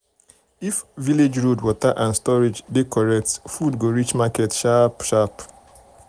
if village road water and storage dey correct food go reach market sharp sharp.